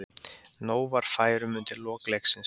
Nóg var færum undir lok leiksins.